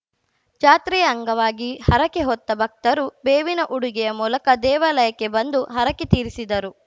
ಜಾತ್ರೆಯ ಅಂಗವಾಗಿ ಹರಕೆ ಹೊತ್ತ ಭಕ್ತರು ಬೇವಿನ ಉಡುಗೆಯ ಮೂಲಕ ದೇವಾಲಯಕ್ಕೆ ಬಂದು ಹರಕೆ ತೀರಿಸಿದರು